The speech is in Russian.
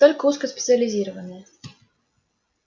только узкоспециализированные